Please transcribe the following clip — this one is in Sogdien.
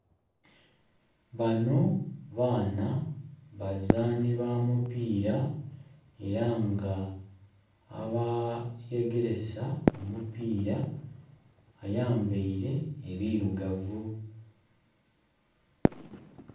Banho baana, bazaani ba mupiira era nga abayegeresa omupiira ayambaile ebirugavu.